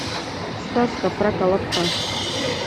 сказка про колобка